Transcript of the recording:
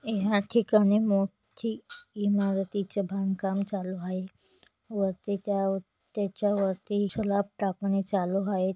हे या ठिकाणी मोठी इमारतीचे बांधकाम चालू आहे वरती त्यावर तेच्यावरती स्लॅप टाकणे चालू आहेत.